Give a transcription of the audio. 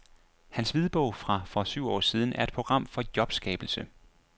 Hans hvidbog fra for syv år siden er et program for jobskabelse.